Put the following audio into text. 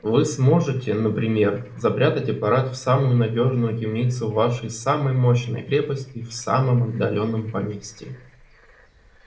вы сможете например запрятать аппарат в самую надёжную темницу вашей самой мощной крепости в самом отдалённом поместье